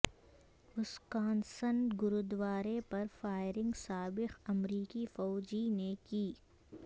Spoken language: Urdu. وسکانسن گوردوارے پر فائرنگ سابق امریکی فوجی نے کی